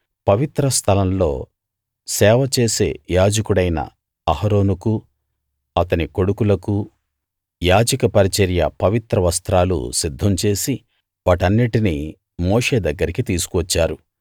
పవిత్ర స్థలం లో సేవ చేసే యాజకుడైన అహరోనుకూ అతని కొడుకులకూ యాజక పరిచర్య పవిత్ర వస్త్రాలు సిద్ధం చేసి వాటన్నిటినీ మోషే దగ్గరికి తీసుకు వచ్చారు